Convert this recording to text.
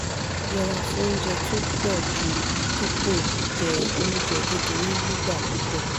yẹra fún oúnjẹ tó po ju dípò je oúnjẹ kékeré nigba pupo